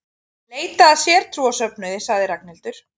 Leita að sértrúarsöfnuði sagði Ragnhildur.